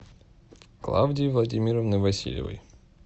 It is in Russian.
клавдии владимировны васильевой